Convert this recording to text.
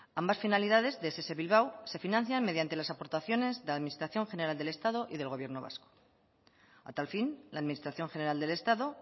ambas finalidades de ess bilbao se financian mediante las aportaciones de la administración general del estado y del gobierno vasco a tal fin la administración general del estado